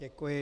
Děkuji.